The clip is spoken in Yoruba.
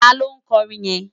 Táló nkòrin yèn?